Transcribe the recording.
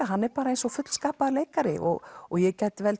hann er eins og fullskapaður leikari og og ég gæti